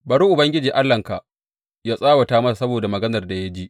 Bari Ubangiji Allahnka yă tsawata masa saboda maganar da ya ji.